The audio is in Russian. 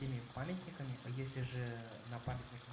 теми памятниками а если же на памятниках